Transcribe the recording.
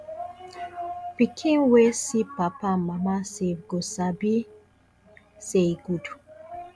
pikin wey see papa and mama save go sabi say e good